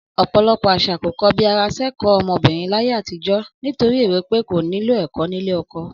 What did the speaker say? Ọ̀pò̩lo̩pò̩ às̩à kò ko̩bi ara sẹ́kọ̀ọ́ ọmọbìnrin láyé àtijọ́, nítorí èrò pé kò nílò̩ ẹ̀kọ́ nílé o̩ko̩